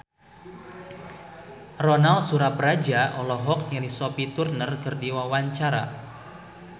Ronal Surapradja olohok ningali Sophie Turner keur diwawancara